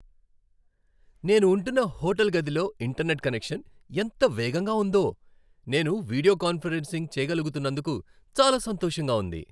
నేను ఉంటున్న హోటల్ గదిలో ఇంటర్నెట్ కనెక్షన్ ఎంత వేగంగా ఉందో నేను వీడియో కాన్ఫరెన్సింగ్ చేయగలుగుతున్నందుకు చాలా సంతోషంగా ఉంది.